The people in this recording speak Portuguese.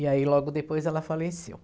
E aí logo depois ela faleceu.